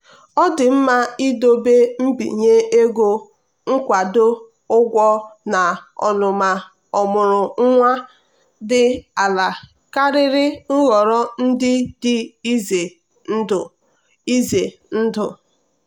ọ ka mma idobe mbinye ego nkwado ụgwọ na ọnụma ọmụrụ nwa dị ala karịa nhọrọ ndị dị ize ndụ. ize ndụ.